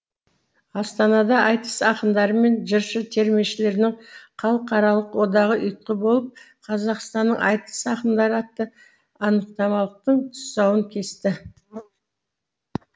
астанада айтыс ақындары мен жыршы термешілерінің халықаралық одағы ұйытқы болып қазақстанның айтыс ақындары атты анықтамалықтың тұсауын кесті